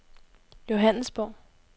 Johannesborg